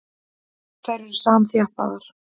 Þær eru samþjappaðar.